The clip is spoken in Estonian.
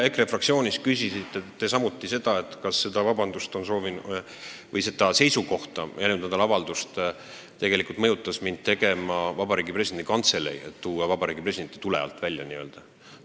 Eile EKRE fraktsioonis küsisite te samuti, kas seda seisukohta väljendama, seda avaldust tegema mõjutas mind tegelikult Vabariigi Presidendi Kantselei, et tuua Vabariigi President n-ö tule alt välja.